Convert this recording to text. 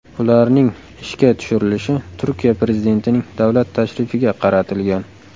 Ularning ishga tushirilishi Turkiya Prezidentining davlat tashrifiga qaratilgan.